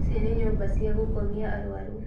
Ici nĩ nyũmba cia gũkomia arũaru